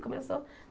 Começou.